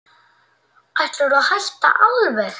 Ætlarðu að hætta alveg.